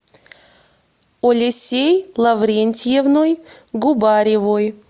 олесей лаврентьевной губаревой